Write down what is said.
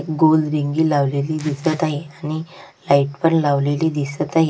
गोल रिंगी लावलेली दिसत आहे आणि लाइट पण लावलेली दिसत आहे.